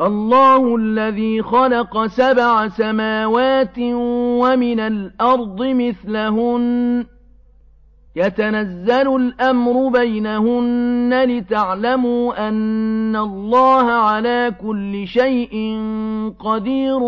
اللَّهُ الَّذِي خَلَقَ سَبْعَ سَمَاوَاتٍ وَمِنَ الْأَرْضِ مِثْلَهُنَّ يَتَنَزَّلُ الْأَمْرُ بَيْنَهُنَّ لِتَعْلَمُوا أَنَّ اللَّهَ عَلَىٰ كُلِّ شَيْءٍ قَدِيرٌ